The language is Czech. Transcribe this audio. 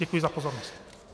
Děkuji za pozornost.